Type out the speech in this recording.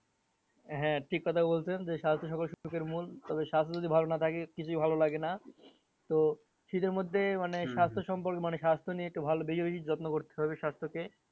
হ্যাঁ ঠিক কথা বলছেন যে স্বাস্থ্য সবার সুখের মূল তবে স্বাস্থ্য যদি ভালো না থাকে কিছু ভালো লাগে না। তো শীতের মধ্যে মানে সম্পর্ক মানে স্বাস্থ্য নিয়ে একটু বেশি বেশি যত্ন করতে হবে স্বাস্থ্যকে